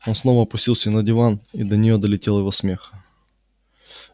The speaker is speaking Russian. он снова опустился на диван и до неё долетел его смех